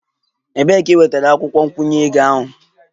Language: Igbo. Ebee ka ị nwetara akwukwo nkwụnye ego ahụ?